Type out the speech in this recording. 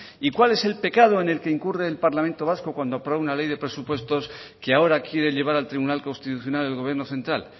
y cuál es el pecado en el que incurre el parlamento vasco cuando aprueba una ley de presupuestos que ahora quiere llevar al tribunal constitucional el gobierno central